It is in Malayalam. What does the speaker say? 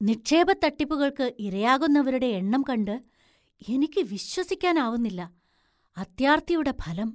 നിക്ഷേപ തട്ടിപ്പുകൾക്ക് ഇരയാകുന്നവരുടെ എണ്ണം കണ്ട് എനിക്ക് വിശ്വസിക്കാന്‍ ആവുന്നില്ല. അത്യാര്‍ത്തിയുടെ ഫലം!